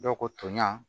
Dɔw ko toɲa